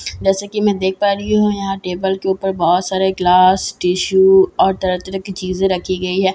जैसे कि मैं देख पा रही हूं यहां टेबल के ऊपर बहुत सारे गिलास टिशु और तरह-तरह की चीजें रखी गई है जैसे के--